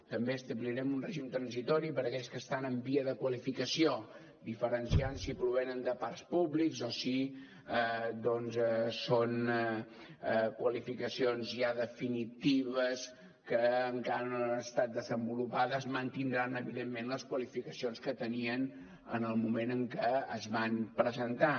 també establirem un règim transitori per a aquells que estan en vies de qualificació diferenciant si provenen de parcs públics o si doncs són qualificacions ja definitives que encara no han estat desenvolupades mantindran evidentment les qualificacions que tenien en el moment en què es van presentar